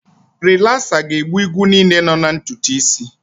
Rilasa ga-egbu igwu niile nọ na ntutu isi.